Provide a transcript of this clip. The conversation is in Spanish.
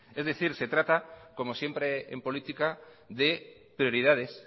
es decir se trata como siempre en política de prioridades